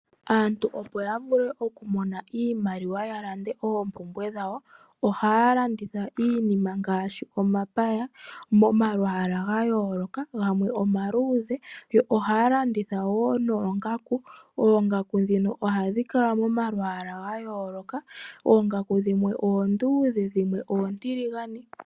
Aantu opo yavule okumona iimaliwa yalande oompumbwe dhawo, ohaalanditha iinima ngaashi omapaya momalwaala gayooloka, gamwe omaluudhe yo ohaalanditha woo noongaku. Oongaku dhino ohadhikala momalwaala gayooloka oongaku dhimwe oonduudhe dhimwe oontiligane.